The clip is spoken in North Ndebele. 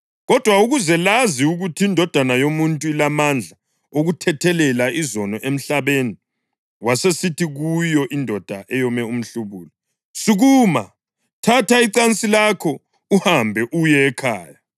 Kodwa ukuze lazi ukuthi iNdodana yoMuntu ilamandla okuthethelela izono emhlabeni.” Wasesithi kuyo indoda eyome umhlubulo, “Sukuma, thatha icansi lakho uhambe uye ekhaya.”